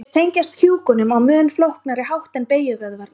þeir tengjast kjúkunum á mun flóknari hátt en beygjuvöðvarnir